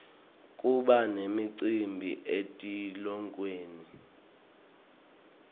kuba nemicimbi etikolweni